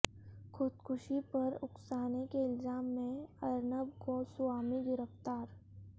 خودکشی پر اکسانے کے الزام میں ارنب گوسوامی گرفتار